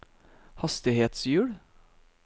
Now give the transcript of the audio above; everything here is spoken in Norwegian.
hastighetshjul